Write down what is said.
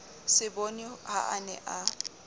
seboni ha a ne a